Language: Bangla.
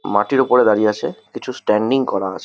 মাটির ওপরে দাঁড়িয়ে আছে কিছু স্ট্যান্ডিং করা আছ--